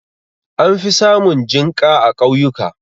An fi samun jinƙa a ƙauyuka.